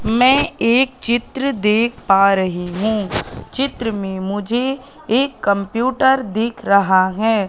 मैं एक चित्र देख पा रही हूं चित्र में मुझे एक कंप्यूटर दिख रहा है।